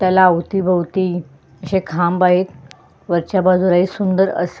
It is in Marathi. त्याला अवतीभवती अशे खांब आहेत वरच्या बाजूला एक सुंदर अस--